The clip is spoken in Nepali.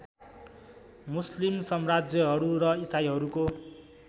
मुस्लिम सम्राज्यहरू र इसाईहरूको